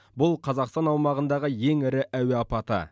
бұл қазақстан аумағындағы ең ірі әуе апаты